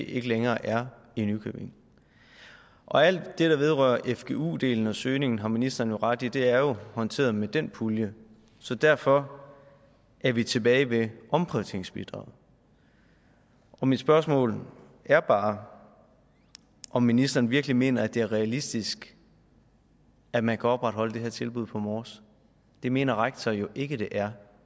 ikke længere er i nykøbing alt det der vedrører fgu delen og søgningen har ministeren jo ret i det er jo håndteret med den pulje så derfor er vi tilbage ved omprioriteringsbidraget og mit spørgsmål er bare om ministeren virkelig mener at det er realistisk at man kan opretholde det her tilbud på mors det mener rektor jo ikke det er